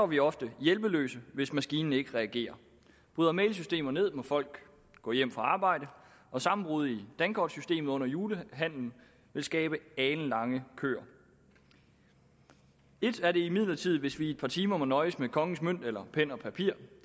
vi ofte hjælpeløse hvis maskinen ikke reagerer bryder mail systemer ned må folk gå hjem fra arbejde og sammenbrud i dankortsystemet under julehandelen vil skabe alenlange køer et er imidlertid hvis vi i et par timer må nøjes med kongens mønt eller pen og papir